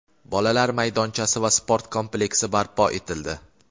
bolalar maydonchasi va sport kompleksi barpo etildi.